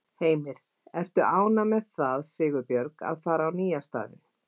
Heimir: Ertu ánægð með það Sigurbjörg að fara á nýja staðinn?